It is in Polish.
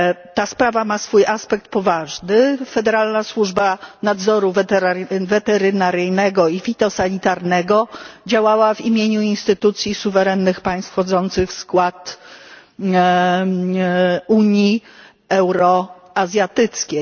Ta sprawa ma swój aspekt poważny Federalna Służba Nadzoru Weterynaryjnego i Fitosanitarnego działała w imieniu instytucji suwerennych państw wchodzących w skład Unii Euroazjatyckiej.